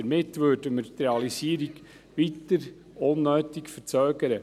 Damit würden wir die Realisierung weiter unnötig verzögern.